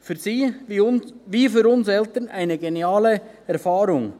für sie wie für uns Eltern eine geniale Erfahrung.